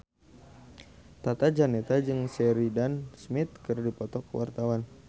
Tata Janeta jeung Sheridan Smith keur dipoto ku wartawan